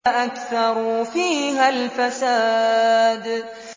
فَأَكْثَرُوا فِيهَا الْفَسَادَ